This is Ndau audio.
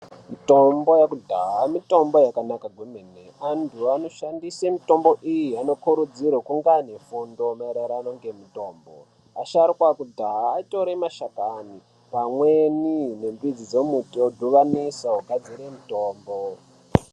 Mutombo yekudhaya mitombo yakanaka maningi antu anoshandise mitombo iyi anokurudzirwa kunge ane fundo maererano nemutombo asharuka ekudhaya aitire mashakani pamweni nemidzi dzemiti vodhibanisa vogadzire mutombo.